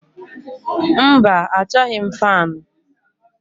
Mba achọghị m faanụ.